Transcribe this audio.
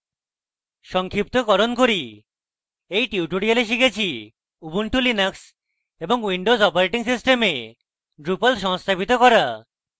সংক্ষিপ্তকরণ করি in tutorial শিখেছি ubuntu linux এবং windows operating systems drupal সংস্থাপিত করা